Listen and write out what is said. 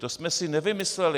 To jsme si nevymysleli.